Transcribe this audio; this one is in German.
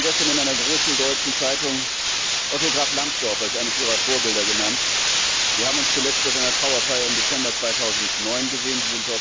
Sie haben gestern in einer großen deutschen Zeitung Otto Graf Lambsdorff als eines Ihrer Vorbilder genannt. Wir haben uns zuletzt bei seiner Trauerfeier im Dezember 2009 gesehen.